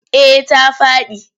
Eh ta faɗi.